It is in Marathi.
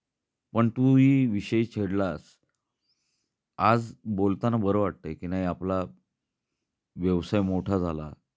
पण तू ही विषय छेडलास. आज बोलताना बर वाटतय की नाही आपला व्यवसाय मोठा झाला